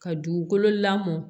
Ka dugukolo lamɔ